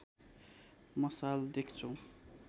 मसाल देख्छौ